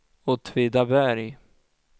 Åtvidaberg